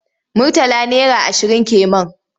Murtala naira ashirin ke man.